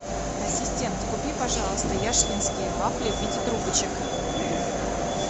ассистент купи пожалуйста яшкинские вафли в виде трубочек